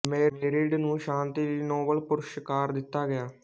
married ਨੂੰ ਸ਼ਾਂਤੀ ਲਈ ਨੋਬਲ ਪੁਰਸਕਾਰ ਦਿੱਤਾ ਗਿਆ